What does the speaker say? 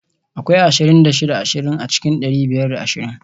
Akwai ashirin da shida ashirin a cikin dari biyar da ashirin